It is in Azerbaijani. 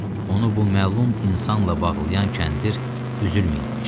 Onu bu məlum insanla bağlayan kəndir üzülməyibmiş.